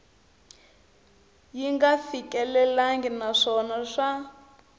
yi nga fikelelangi naswona swa